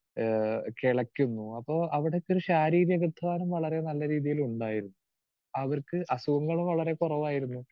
Speaker 2 ഏഹ് കിളയ്ക്കുന്നു അപ്പൊ അവിടൊക്കെ ഒരു ശാരീരിക അധ്വാനം വളരെ നല്ല രീതിയിൽ ഉണ്ടായിരുന്നു. അവർക്ക് അസുഖങ്ങള് വളരെ കുറവായിരുന്നു.